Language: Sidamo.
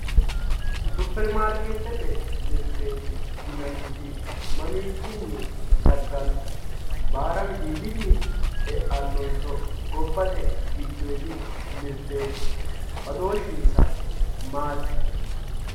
Superimaarketete mirte yinanniti mamichini dagano, baara widiidini eanonso gobbate giddoodi mirteti badooshinsa maati.